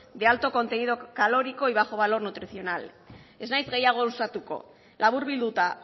de alto contenido calórico y bajo valor nutricional ez naiz gehiago luzatuko laburbilduta